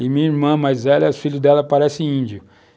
E minha irmã mais velha, os filhos dela parecem índios.